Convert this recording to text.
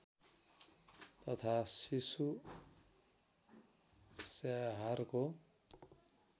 तथा शिशु स्याहारको